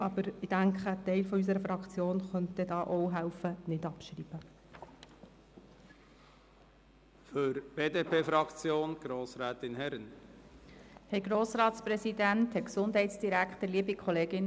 Aber ich denke, ein Teil unserer Fraktion könnte dann auch dabei helfen, nicht abzuschreiben.